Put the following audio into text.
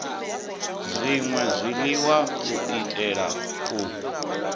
zwṅwe zwiḽiwa u itela u